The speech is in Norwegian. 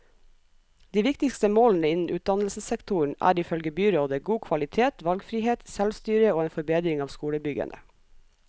De viktigste målene innen utdannelsessektoren er, ifølge byrådet, god kvalitet, valgfrihet, selvstyre og en forbedring av skolebyggene.